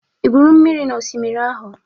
Ị gwuru mmiri n'osimiri ahụ?